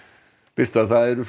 birta það eru